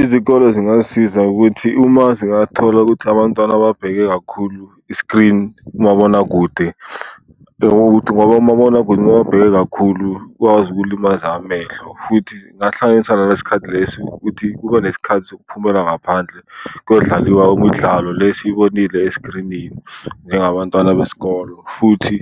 Izikole zingasiza ukuthi uma zingathola ukuthi abantwana babheke kakhulu i-screen, umabonakude. ngoba umabonakude uma uwabheke kakhulu ukwazi ukulimaza amehlo. Futhi ngahlanganisa ngalesi sikhathi lesi ukuthi kube nesikhathi sokuphumela ngaphandle kuyodlaliwa umdlalo le esiyibonile esiskrinini njengabantwana besikolo. Futhi